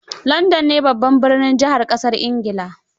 London ne babbar jihar ƙasar Ingila